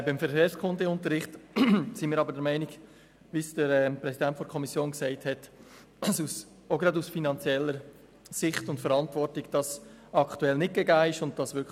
Beim Verkehrskundeunterricht sind wir jedoch – wie es auch der Kommissionspräsident gesagt hat – gerade auch aus finanzieller Sicht und Verantwortung der Meinung, dass er aktuell nicht gegeben ist.